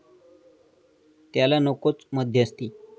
त्याला नकोच मध्यस्थी।